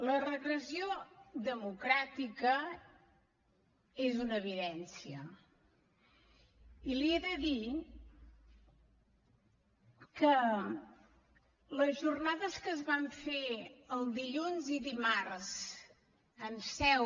la regressió democràtica és una evidència i li he de dir que les jornades que es van fer el dilluns i dimarts en seu